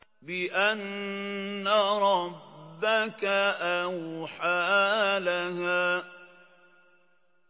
بِأَنَّ رَبَّكَ أَوْحَىٰ لَهَا